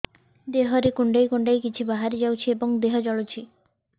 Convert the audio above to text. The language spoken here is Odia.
ଦେହରେ କୁଣ୍ଡେଇ କୁଣ୍ଡେଇ କିଛି ବାହାରି ଯାଉଛି ଏବଂ ଦେହ ଜଳୁଛି